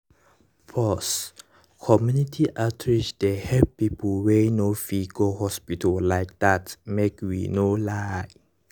pause - community outreach dey help people wey no fit go hospital like that make we no lie.